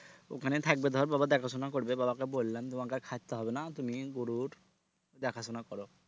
ওখানে থাকবে ধর বাবা দেখাশোনা করবে বাবাকে বললাম তোমাকে আর খাটতে হবে না তুমি গরুর দেখাশোনা করো